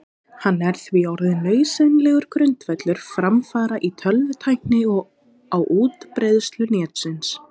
Hann er því orðinn nauðsynlegur grundvöllur framfara í tölvutækni og á útbreiðslu Netsins.